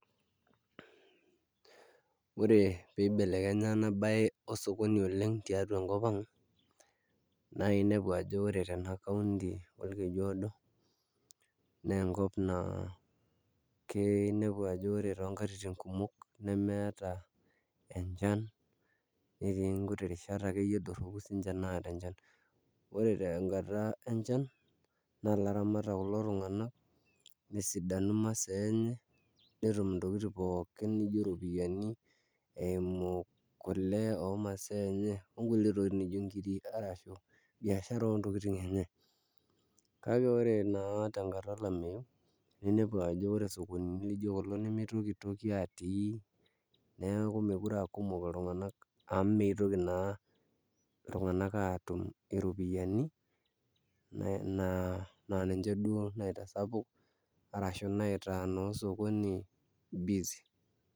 Ore eng'eno arashu mbaa niyieu pee ias oltung'ani ena siai naa eng'as aaku lasima pee inyiang'uni oltung'ani oyiolo aisuma metaa iidim aisuma swali nitoki sii aaku iisum ake nielewa naa sii ena swali peyie itum atushuko arashu aijibu kulingana enaa enikinkilikuanaki.